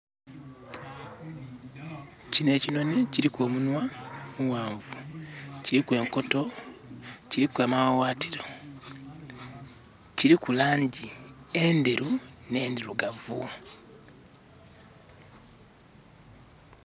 Kinho ekinhonhi kiliku omunhwa omughanvu, kiliku enkoto, kliku amaghaghatiro, kiliku laangi endheru nh'endhirugavu.